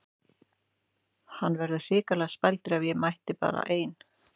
Hann verður hrikalega spældur ef ég mæti bara ein!